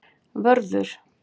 Vörður